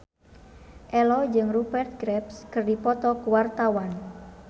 Ello jeung Rupert Graves keur dipoto ku wartawan